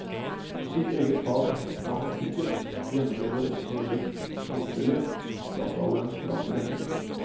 Mitt eget fag, matematikken, gjennomlever også, litt motvillig, dataalderens krav til endring.